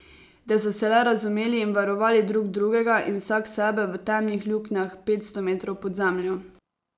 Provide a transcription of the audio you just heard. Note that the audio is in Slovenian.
Da so se le razumeli in varovali drug drugega in vsak sebe v temnih luknjah petsto metrov pod zemljo.